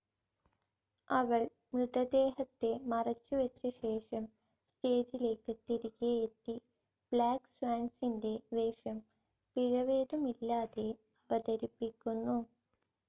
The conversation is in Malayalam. അവൾ മൃതദേഹത്തെ മറച്ചു വെച്ച ശേഷം സ്റ്റേജിലേക്ക് തിരികെയെത്തി, ബ്ലാക്ക്‌ സ്വാന്സിൻ്റെ വേഷം പിഴവേതുമില്ലാതെ അവതരിപ്പിക്കുന്നു.